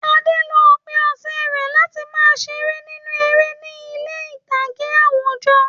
Ade lo òpin ọ̀sẹ̀ rẹ̀ láti máa ṣeré nínú eré ní ilé ìtàgé àwùjọ.